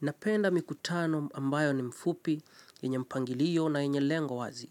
Napenda mikutano ambayo ni mfupi, yenye mpangilio na yenye lengo wazi.